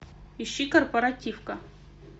ищи корпоративка